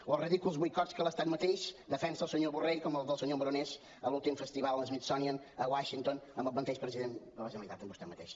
o els ridículs boicots que l’estat mateix defensa el senyor borrell com el senyor morenés en l’últim festival smithsonian a washington amb el mateix president de la generalitat amb vostè mateix